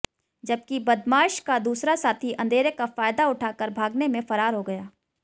जबकि बदमाश का दूसरा साथी अंधेरे का फायदा उठाकर भागने में फरार हो गया